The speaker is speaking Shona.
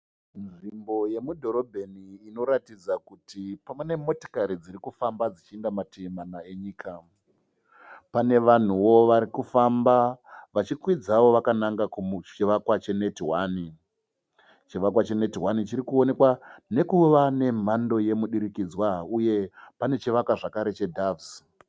Nzvimbo yemudhorobheni inoratidza kuti ine motokari dzirikufamba dzichienda mativi mana enyika. Pane vanhuwo varikufamba vachikwidzawo kuchivakwa cheNetOne. Chivakwa cheNetOne chinoonekwa nekuva nemhando yomudukidzanwa uye pane chivakwa zvakare cheDoves.